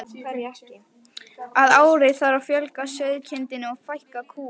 Að ári þarf að fjölga sauðkindinni og fækka kúm.